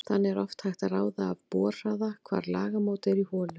Þannig er oft hægt að ráða af borhraða hvar lagamót eru í holu.